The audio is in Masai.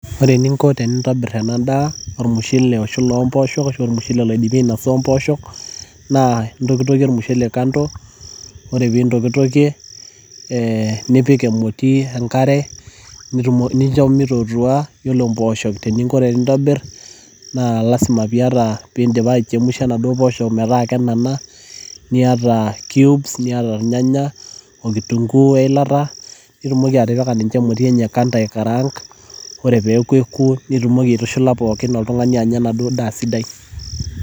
Ore eninko tenintobir ena daa, ormushele oshula omopoosho, ashu ormushele oidimi ainasa ompoosho, naa intokitokie ormushele kando, ore pintokitokie, eh nipik emoti enkare, nincho mitootua. Yiolo mpooshok teninko tenintobir, naa lasima piata pidipa aichemsha naduo poosho metaa kenana, niata cubes ,niata irnyanya o kitunkuu weilata, nitumoki atipika ninche emoti enye kando aikaraank. Ore peeku ekuo, nitumoki aitushula pookin nilo oltung'ani anya enaduo daa sidai.